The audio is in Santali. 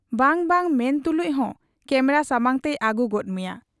ᱵᱟᱝ ᱵᱟᱝ ᱢᱮᱱ ᱛᱩᱞᱩᱡ ᱦᱚᱸ ᱠᱮᱢᱨᱟ ᱥᱟᱢᱟᱝ ᱛᱮᱭ ᱟᱹᱜᱩ ᱜᱚᱫ ᱢᱮᱭᱟ ᱾